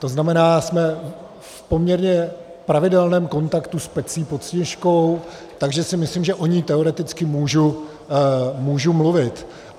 To znamená, jsme v poměrně pravidelném kontaktu s Pecí pod Sněžkou, takže si myslím, že o ní teoreticky můžu mluvit.